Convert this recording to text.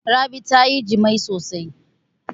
Rabi ta yi jima'i sosai.